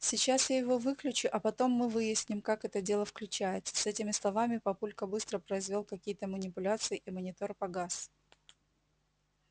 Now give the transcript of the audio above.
сейчас я его выключу а потом мы выясним как это дело включается с этими словами папулька быстро произвёл какие-то манипуляции и монитор погас